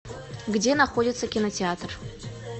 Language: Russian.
где находится кинотеатр